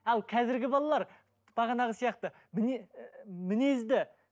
ал қазіргі балалар бағанағы сияқты ііі мінезді